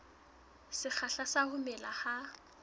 sekgahla sa ho mela ha